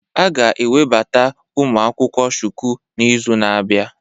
A ga-ewebata ụmụ akwụkwọ Shuku n'izu na-abịa